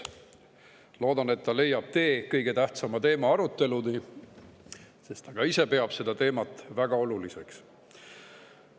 Loodan, et ta leiab tee kõige tähtsama teema aruteluni, sest ta ka ise peab seda teemat väga oluliseks.